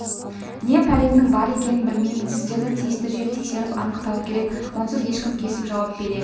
не пәлемнің бар екенін білмеймін сіздерді тиісті жер тексеріп анықтауы керек онсыз ешкім кесіп жауап бере